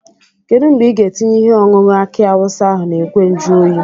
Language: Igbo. Kedu mgbe ị ga-etinye ihe ọṅụṅụ aki awụsa ahụ n'ìgwè njuoyi?